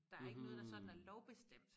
Der ikke noget der sådan er lovbestemt